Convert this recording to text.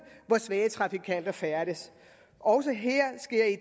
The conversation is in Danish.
hvor svage trafikanter færdes også her sker i